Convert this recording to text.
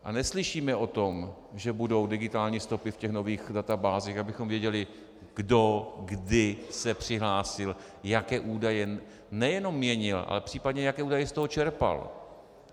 A neslyšíme o tom, že budou digitální stopy v těch nových databázích, abychom věděli, kdo kdy se přihlásil, jaké údaje nejen měnil, ale případně jaké údaje z toho čerpal.